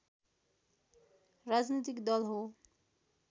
राजनीतिक दल हो